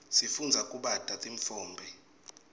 sifundza kubata titfombe